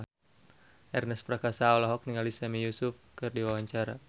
Ernest Prakasa olohok ningali Sami Yusuf keur diwawancara